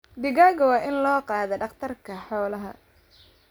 Digaagga waa in loo qaadaa dhakhtarka xoolaha.